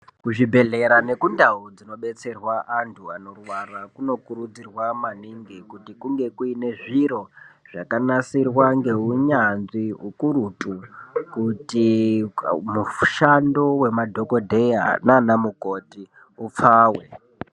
Kuzvibhedhlera nekundau dzinobetserwa antu anorwara kunokurudzirwa maningi kuti kunge kuine zviro zvakanasirwa ngeunyanzvi ukurutu kuti mushando wemadhogodheya nanamukoti upfawe.